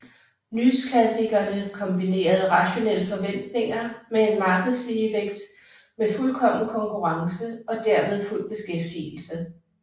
Nyklassikerne kombinerede rationelle forventninger med en markedsligevægt med fuldkommen konkurrence og dermed fuld beskæftigelse